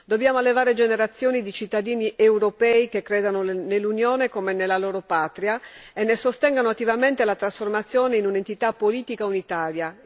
Dobbiamo allevare generazioni di cittadini europei che credono nell'Unione come nella loro patria e ne sostengano attivamente la trasformazione in un'entità politica unitaria.